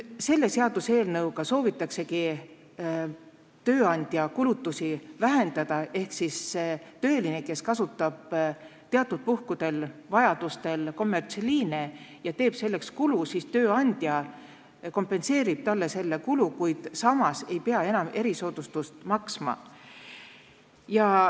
Selle seaduseelnõuga soovitaksegi tööandja kulutusi vähendada ehk kui töötaja kasutab teatud puhkudel kommertsliine ja teeb selleks kulutusi, siis tööandja kompenseerib talle selle, kuid samas ei pea tööandja enam erisoodustusmaksu maksma.